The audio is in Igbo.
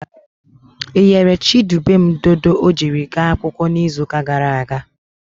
Ị ghere Chidubem dodo ọ jiri gaa akwụkwọ n'izuụka gara aga?